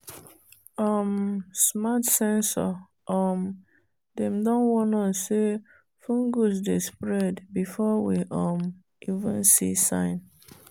um smart sensor um dem don warn us say fungus dey spread before we um even see sign.